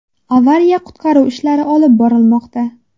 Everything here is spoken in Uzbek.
Avariya-qutqaruv ishlari olib borilmoqda.